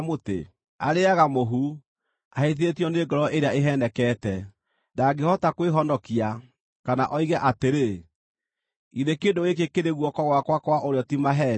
Arĩĩaga mũhu, ahĩtithĩtio nĩ ngoro ĩrĩa ĩheenekete; ndangĩhota kwĩhonokia, kana oige atĩrĩ, “Githĩ kĩndũ gĩkĩ kĩrĩ guoko gwakwa kwa ũrĩo ti maheeni?”